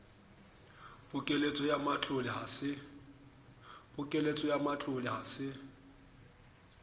pokelletso ya matlole ha se